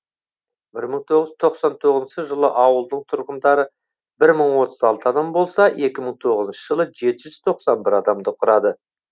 бір мың тоғыз тоқсан тоғызыншы жылы ауылдың тұрғындары бір мың отыз алты адам болса екі мың тоғызыншы жылы жеті жүз тоқсан бір адамды құрады